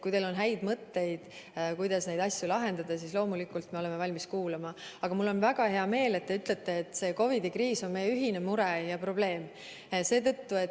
Kui teil on häid mõtteid, kuidas neid asju lahendada, siis loomulikult me oleme valmis kuulama, aga mul on väga hea meel, et te ütlete, et see COVID-i kriis on meie ühine mure ja probleem.